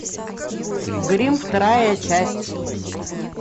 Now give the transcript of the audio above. гримм вторая часть